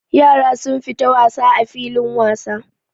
Yara sun fita wasa a filin wasa.